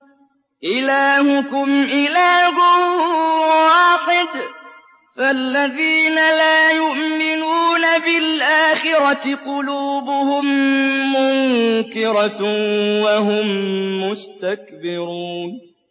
إِلَٰهُكُمْ إِلَٰهٌ وَاحِدٌ ۚ فَالَّذِينَ لَا يُؤْمِنُونَ بِالْآخِرَةِ قُلُوبُهُم مُّنكِرَةٌ وَهُم مُّسْتَكْبِرُونَ